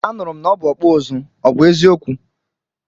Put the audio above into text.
Anụrụ m na ọ bụ ọkpụ ụzụ, ọ bụ eziokwu?